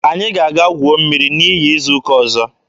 Anyị ga-aga guo mmiri n'iyi izu ụka ọzọ.